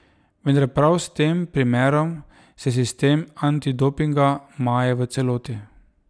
Vendar prav s tem primerom se sistem antidopinga maje v celoti.